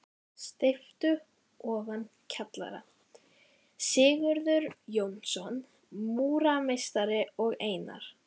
Steypu ofan kjallara: Sigurður Jónsson, múrarameistari og Einar